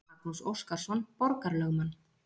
Magnús Óskarsson borgarlögmann.